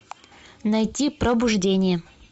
найти пробуждение